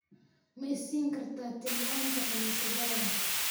Ma i siin kartaa tilmaamta kaniisadaada?